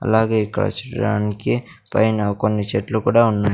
అలాగే ఇక్కడ చూడడానికి పైన కొన్ని చెట్లు కూడా ఉన్నాయి.